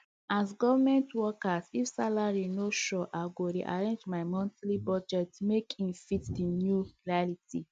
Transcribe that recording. as government worker if salary no sure i go rearrange my monthly budget make e fit the new reality